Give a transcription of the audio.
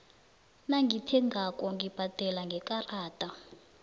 nangithengako ngibhadela ngekarada